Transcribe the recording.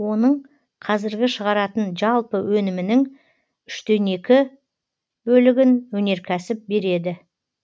оның қазіргі шығаратын жалпы өнімінің үштен екі бөлігін өнеркәсіп береді